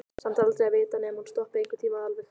Samt aldrei að vita nema hún stoppi einhvern tímann alveg.